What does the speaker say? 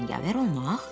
Cəngavər olmaq?